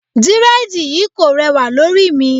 Dírẹ́dìì yí kò rẹwà lórí mi.